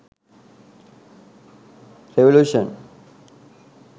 revolution